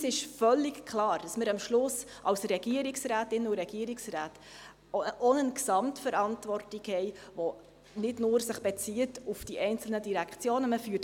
Uns ist völlig klar, dass wir am Schluss als Regierungsrätinnen und Regierungsräte auch eine Gesamtverantwortung haben, die sich nicht nur auf die einzelnen Direktionen bezieht.